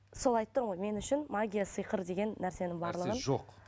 сол айтып тұрмын ғой мен үшін магия сиқыр деген нәрсенің барлығын нәрсе жоқ